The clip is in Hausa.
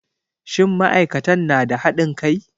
Shin ma'aikatan na da haɗin kai?